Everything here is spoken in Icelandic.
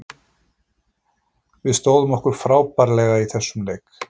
Við stóðum okkur frábærlega í þessum leik.